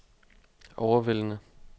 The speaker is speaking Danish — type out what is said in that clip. overvældende